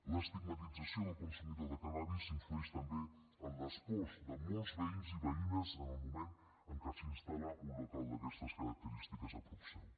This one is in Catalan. l’estigmatització del consumidor de cànnabis influeix també en les pors de molts veïns i veïnes en el moment en què s’instal·la un local d’aquestes característiques a prop seu